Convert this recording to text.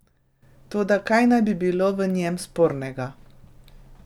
Toda, kaj naj bi bilo v njem spornega?